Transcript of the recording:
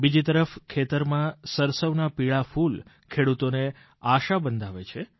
બીજી તરફ ખેતરમાં સરસવનાં પીળાં ફૂલ ખેડૂતોને આશા બંધાવે છે